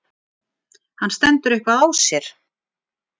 hann stendur eitthvað á sér.